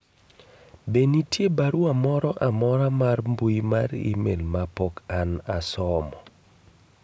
be nitie barua moro amora mar mbui mar email ma pok an pok asomo